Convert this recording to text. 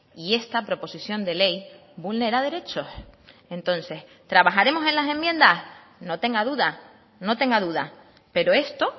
y esta proposición de ley vulnera derechos entonces trabajaremos en las enmiendas no tenga duda no tenga duda pero esto